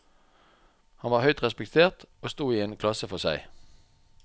Han var høyt respektert og sto i en klasse for seg.